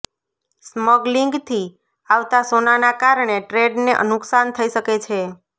સ્મગલિંગથી આવતા સોનાના કારણે ટ્રેડને નુકસાન થઈ શકે છે